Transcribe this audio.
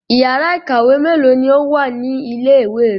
Ìyàrá-iìkàwé mélòó ni ó wà ní ilé-ìwé rẹ?